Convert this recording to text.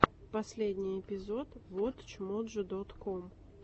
последний эпизод вотч моджо дот ком